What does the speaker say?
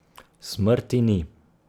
Smrti ni.